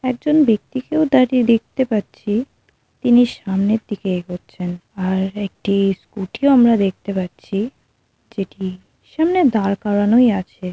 একজন ব্যক্তিকেও তাকে দেখতে পাচ্ছি তিনি সামনের দিকে এগোচ্ছেন আর একটি স্কুটি ও আমরা দেখতে পাচ্ছি যেটি সামনে দাঁড় করানোই আছে।